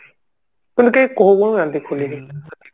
ମାନେ କେହି କହୁ ନାହାନ୍ତି ଖୋଲିକି